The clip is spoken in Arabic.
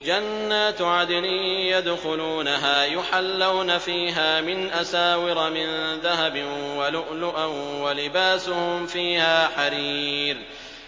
جَنَّاتُ عَدْنٍ يَدْخُلُونَهَا يُحَلَّوْنَ فِيهَا مِنْ أَسَاوِرَ مِن ذَهَبٍ وَلُؤْلُؤًا ۖ وَلِبَاسُهُمْ فِيهَا حَرِيرٌ